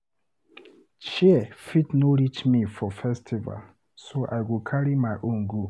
Chair fit no reach me for festival so I go carry my own go.